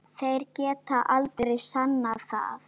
Þeir geta aldrei sannað það!